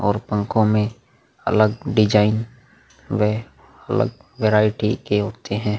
और पंखो में अलग डिज़ाइन वे अलग वैरायटी के होते है।